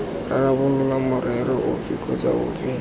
rarabolola morero ofe kgotsa ofe